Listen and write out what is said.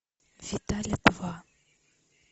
виталя два